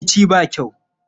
Rikici ba kyau.